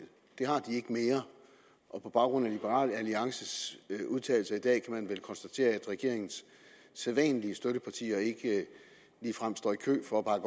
det har de ikke mere og på baggrund af liberal alliances udtalelser i dag kan man vel konstatere at regeringens sædvanlige støttepartier ikke ligefrem står i kø for at bakke